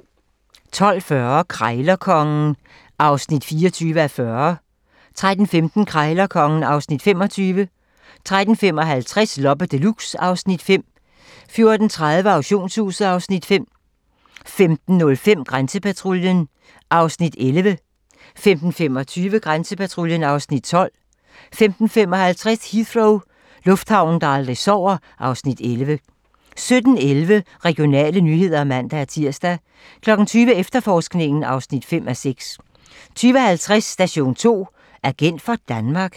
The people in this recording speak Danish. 12:40: Krejlerkongen (24:40) 13:15: Krejlerkongen (Afs. 25) 13:55: Loppe Deluxe (Afs. 5) 14:30: Auktionshuset (Afs. 5) 15:05: Grænsepatruljen (Afs. 11) 15:25: Grænsepatruljen (Afs. 12) 15:55: Heathrow - lufthavnen, der aldrig sover (Afs. 11) 17:11: Regionale nyheder (man-tir) 20:00: Efterforskningen (5:6) 20:50: Station 2: Agent for Danmark?